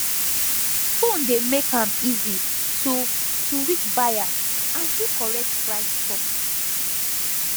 phone dey make am easy to to reach buyers and do correct price talk